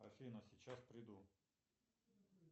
афина сейчас приду